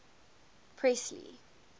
presley